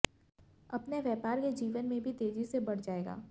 अपने व्यापार के जीवन में भी तेजी से बढ़ जाएगा